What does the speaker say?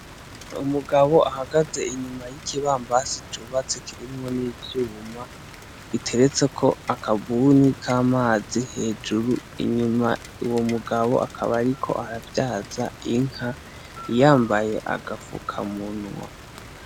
Umugabo ahagaze inyuma y'ikibambazi cubatse kirimwo n'ivyuma, giteretseko akabuni k'amazi hejuru, inyuma uyo mugabo akaba ariko aravyaza inka, yambaye agapfukamunwa.